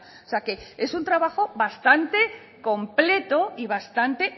o sea que es un trabajo bastante completo y bastante